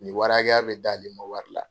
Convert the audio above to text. Ni warI hakɛya bɛ d'ale ma wari la.